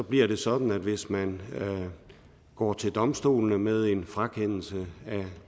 bliver det sådan at hvis man går til domstolene med en frakendelse af